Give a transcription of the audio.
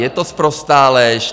Je to sprostá lež.